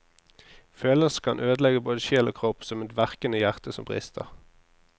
Følelser kan ødelegge både sjel og kropp, som et verkende hjerte som brister.